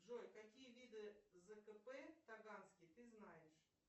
джой какие виды зкп таганский ты знаешь